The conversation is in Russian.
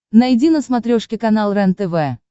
найди на смотрешке канал рентв